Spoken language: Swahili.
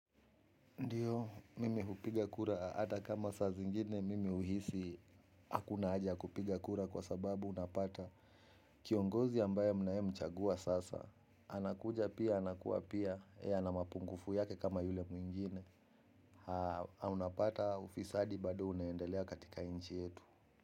Ndio, mimi hupiga kura. Hata kama saa zingine, mimi huhisi hakuna haja ya kupiga kura kwa sababu unapata kiongozi ambaye mnaye mchagua sasa. Anakuja pia, anakuwa pia. Ee ana mapungufu yake kama yule mwingine. Unapata ufisadi bado unendelea katika nchi yetu.